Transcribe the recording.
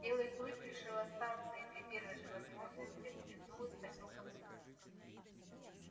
белый клык решил остаться и при первой же возможности улизнул из посёлка в лес